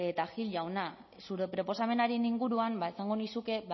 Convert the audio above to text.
eta gil jauna zure proposamenaren inguruan esango nizuke